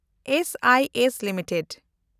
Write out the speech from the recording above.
S I S limited